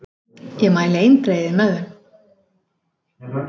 Ég mæli eindregið með þeim.